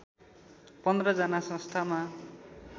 १५ जना संस्थामा